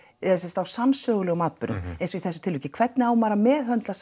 eða sem sagt á sannsögulegum atburðum eins og í þessu tilviki hvernig á maður að meðhöndla